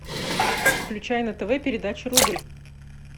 включай на тв передачу рубль